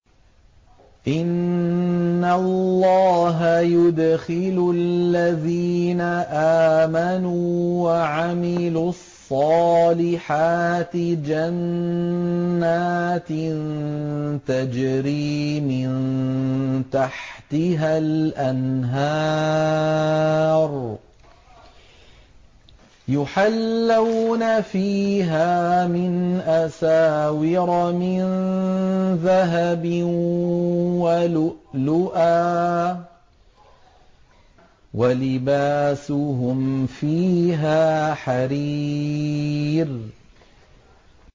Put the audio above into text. إِنَّ اللَّهَ يُدْخِلُ الَّذِينَ آمَنُوا وَعَمِلُوا الصَّالِحَاتِ جَنَّاتٍ تَجْرِي مِن تَحْتِهَا الْأَنْهَارُ يُحَلَّوْنَ فِيهَا مِنْ أَسَاوِرَ مِن ذَهَبٍ وَلُؤْلُؤًا ۖ وَلِبَاسُهُمْ فِيهَا حَرِيرٌ